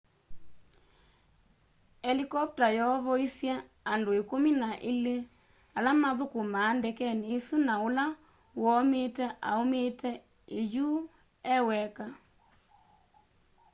helikopta yoovoisy'e andũ ikũmi na ilĩ ala mathũkũmaa ndekeni isũ na ũla woomiite aũmiite iyũũ eweka